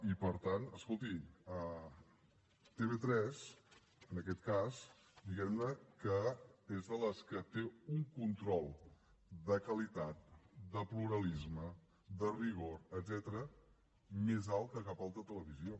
i per tant escolti tv3 en aquest cas diguem ne que és de les que té un control de qualitat de pluralisme de rigor etcètera més alt que cap altra televisió